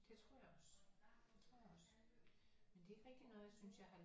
Det tror jeg også det tror jeg også men det er ikke rigtig noget jeg synes jeg har